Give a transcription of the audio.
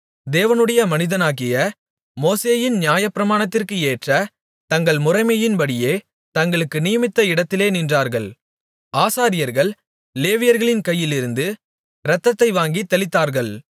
தேவனுடைய மனிதனாகிய மோசேயின் நியாயப்பிரமாணத்திற்கு ஏற்ற தங்கள் முறைமையின்படியே தங்களுக்கு நியமித்த இடத்திலே நின்றார்கள் ஆசாரியர்கள் லேவியர்களின் கையிலிருந்து இரத்தத்தை வாங்கித் தெளித்தார்கள்